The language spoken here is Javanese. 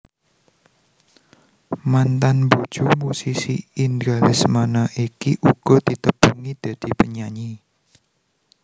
Mantan bojo musisi Indra Lesmana iki uga ditepungi dadi penyanyi